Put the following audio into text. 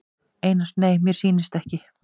Einar: Nei mér sýnist ekki.